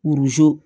Buruzo